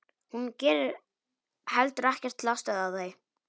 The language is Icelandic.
Hún gerir heldur ekkert til að stöðva þau.